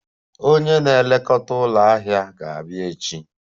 Onye na-elekọta ụlọ ahịa ga-adị echi